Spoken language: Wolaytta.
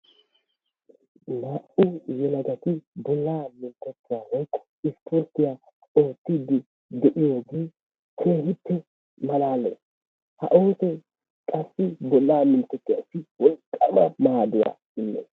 Naa"u yelagati bollaa minttetuwaa woykko isporttiya oottidi de'iyooge keehippe malaalees. Ha oosoy qassi bolla minttetuwassi wolqqama maadduwa immees.